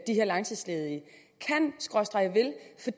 de her langtidsledige